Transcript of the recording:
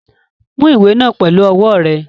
Mú ìwé náà pẹlu ọwọ́ rẹ!